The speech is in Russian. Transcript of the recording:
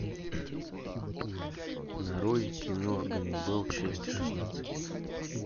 нарой кино ганнибал часть шестнадцать